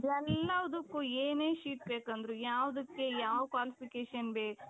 ಎಲ್ಲದುಕ್ಕೂ ಏನೇ seat ಬೇಕಂದ್ರೂ ಯಾವ್ದುಕ್ಕೆ ಯಾವ್ qualificationಗೆ